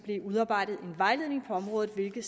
udarbejdes en vejledning på området hvilket